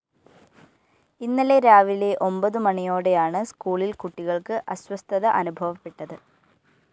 ഇന്നലെ രാവിലെ ഒമ്പതു മണിയോടെയാണ് സ്‌കൂളില്‍ കുട്ടികള്‍ക്ക് അസ്വസ്ഥത അനുഭവപ്പെട്ടത്